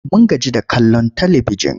Mun gaji da kallon talibijin.